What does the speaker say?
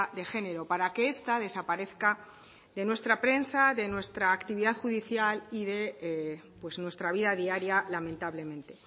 de género para que esta desaparezca de nuestra prensa de nuestra actividad judicial y de pues nuestra vida diaria lamentablemente